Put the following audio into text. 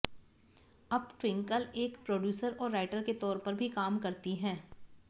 अब ट्विंकल एक प्रोड्यूसर और राइटर के तौर पर भी काम करती हैं